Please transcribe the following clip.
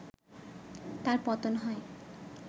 তার পতন হয়